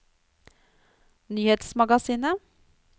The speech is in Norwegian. nyhetsmagasinet